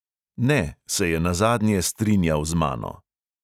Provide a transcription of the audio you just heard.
"Ne," se je nazadnje strinjal z mano.